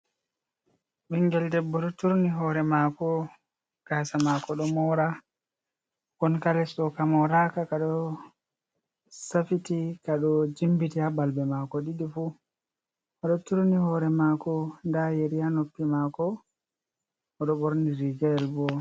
Ɓingel debbo ɗo turni hoore maako, gaasa maako ɗo moora gonka les ɗo ka mooraaka, ka ɗo safiti ka ɗo jimbiti ha balbe maako ɗiɗi fu, oɗo turni hoore maako nda yeri ha noppi maako oɗo ɓorni riga bo.